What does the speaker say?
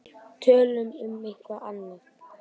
Tölum um eitthvað annað.